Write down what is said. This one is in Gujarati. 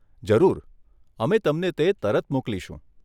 જરૂર, અમે તમને તે તરત મોકલીશું.